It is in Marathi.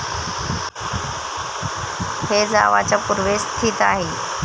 हे जावाच्या पूर्वेस स्थित आहे.